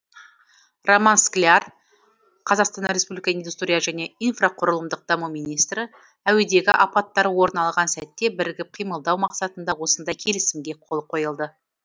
роман скляр қазақстан республикасы индустрия және инфрақұрылымдық даму министрі әуедегі апаттар орын алған сәтте бірігіп қимылдау мақсатында осындай келісімге қол қойылды